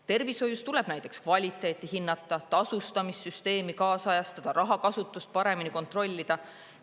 Tervishoius tuleb näiteks kvaliteeti hinnata, tasustamissüsteemi kaasajastada, rahakasutust paremini kontrollida.